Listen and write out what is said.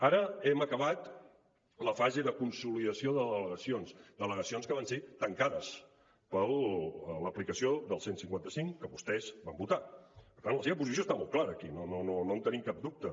ara hem acabat la fase de consolidació de delegacions delegacions que van ser tancades per l’aplicació del cent i cinquanta cinc que vostès van votar per tant la seva posició està molt clara aquí no en tenim cap dubte